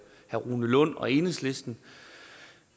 rune lund og enhedslisten